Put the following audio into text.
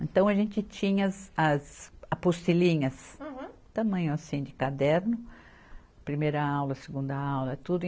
Então, a gente tinha as, as apostilinhas. Aham. Tamanho assim de caderno, primeira aula, segunda aula, tudo.